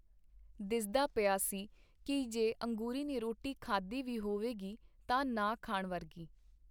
ਦਿਸਦਾ ਪਿਆ ਸੀ ਕੀ ਜੇ ਅੰਗੂਰੀ ਨੇ ਰੋਟੀ ਖਾਧੀ ਵੀ ਹੋਵੇਗੀ ਤਾਂ ਨਾ ਖਾਣ ਵਰਗੀ.